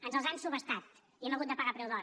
ens els han subhastat i els hem hagut de pagar a preu d’or